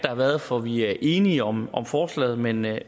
har været for vi er enige om forslaget men jeg